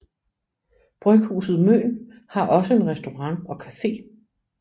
Bryghuset Møn har også en restaurant og cafe